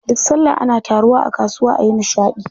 Duk sallah ana taruwa a kasuwa ayi nishaɗi.